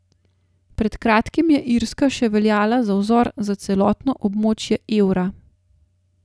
Pred kratkim je Irska še veljala za vzor za celotno območje evra.